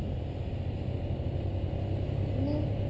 নে